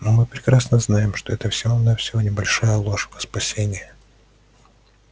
но мы прекрасно знаем что это всего-навсего небольшая ложь во спасение